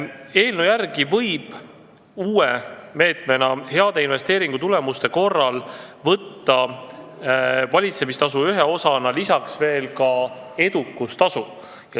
Eelnõu järgi võib uue meetmena heade investeerimistulemuste korral võtta valitsemistasu ühe osana lisaks veel edukustasu.